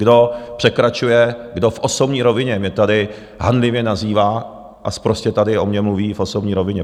Kdo překračuje, kdo v osobní rovině mě tady hanlivě nazývá a sprostě tady o mně mluví v osobní rovině...